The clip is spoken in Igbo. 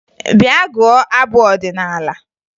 Bịa gụọ abụ ọdịnaala!